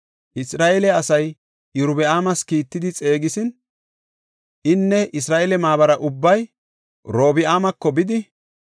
Isra7eele asay Iyorbaama kiittidi xeegisin, inne Isra7eele maabara ubbay Robi7aamako bidi,